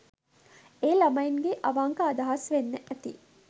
ඒ ළමයින්ගෙ අවංක අදහස් වෙන්න ඇති.